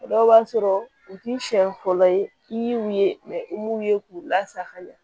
O dɔw b'a sɔrɔ u k'i siɲɛ fɔlɔ ye i y'u ye i m'u ye k'u lasagoya